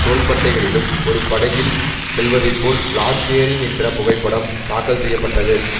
தோள்பட்டைகளிலும் ஒரு படகில் செல்வதைப்போல் லார்க் ஏறி நின்ற புகைப்படம் தாக்கல் செய்ய பட்டது